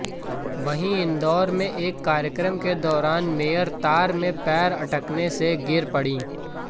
वहीं इंदौर में एक कार्यक्रम के दौरान मेयर तार में पैर अटकने से गिर पड़ीं